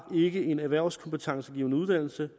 ikke en erhvervskompetencegivende uddannelse